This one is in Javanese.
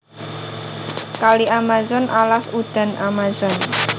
Kali Amazon Alas udan Amazon